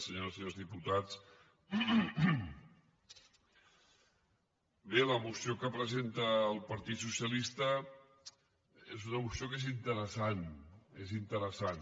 senyores i senyors diputats bé la moció que presenta el partit socialista és una moció que és interessant és interessant